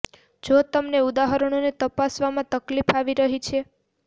જો તમને આ ઉદાહરણોને તપાસવામાં તકલીફ આવી રહી છે